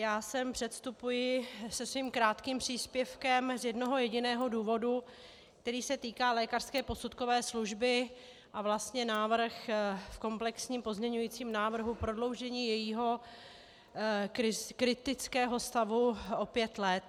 Já sem předstupuji se svým krátkým příspěvkem z jednoho jediného důvodu, který se týká lékařské posudkové služby, a vlastně návrh v komplexním pozměňovacím návrhu prodloužení jejího kritického stavu o pět let.